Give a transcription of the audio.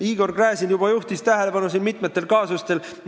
Igor Gräzin juba juhtis tähelepanu mitmele kaasusele.